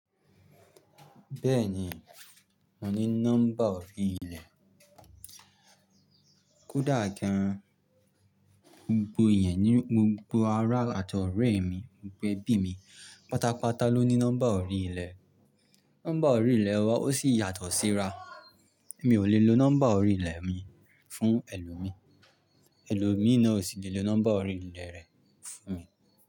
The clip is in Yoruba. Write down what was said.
Bẹ́ẹ̀ni, mo ní nọ́mbà orí ilẹ̀. Kódà gan gbogbo yẹn ní gbogbo ará àti ọ̀rẹ́ mi, gbogbo ẹbí mi, pátápátá ló ní nọ́mbà orí ilẹ̀. Nọ́mbà orí ilẹ̀ wa ó sì yàtọ̀ síra. Mi ò lè lo nọ́mbà orí ilẹ̀ mi fún ẹlòmíì, ẹlòmíì náà ò sì lè lo nọ́mbà orí ilẹ̀ rẹ̀ fún mi.